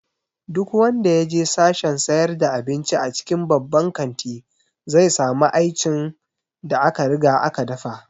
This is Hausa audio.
Duk wanda ya je sashen sayar da abinci a cikin babban kanti, zai samu aincin da aka riga aka dafa